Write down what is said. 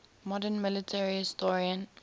modern military historian